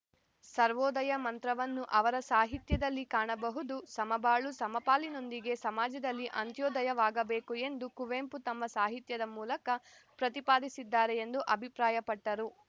ಸರ್ವೋದಯ ಮಂತ್ರವನ್ನು ಅವರ ಸಾಹಿತ್ಯದಲ್ಲಿ ಕಾಣಬಹುದು ಸಮಬಾಳು ಸಮಪಾಲಿನೊಂದಿಗೆ ಸಮಾಜದಲ್ಲಿ ಅಂತ್ಯೋದಯವಾಗಬೇಕು ಎಂದು ಕುವೆಂಪು ತಮ್ಮ ಸಾಹಿತ್ಯದ ಮೂಲಕ ಪ್ರತಿಪಾದಿಸಿದ್ದಾರೆ ಎಂದು ಅಭಿಪ್ರಾಯಪಟ್ಟರು